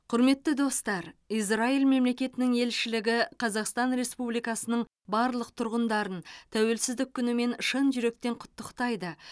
құрметті достар израиль мемлекетінің елшілігі қазақстан республикасының барлық тұрғындарын тәуелсіздік күнімен шын жүректен құттықтайды